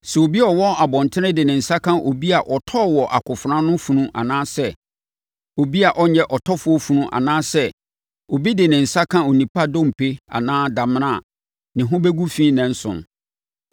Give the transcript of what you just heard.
“Sɛ obi a ɔwɔ abɔntene de ne nsa ka obi a ɔtɔɔ wɔ akofena ano funu anaa sɛ obi a ɔnyɛ ɔtɔfoɔ funu, anaasɛ obi de ne nsa ka onipa dompe anaa damena a, ne ho bɛgu fi nnanson.